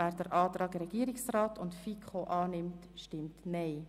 Wer dem Antrag von Regierungsrat und FiKo den Vorzug gibt, stimmt Nein.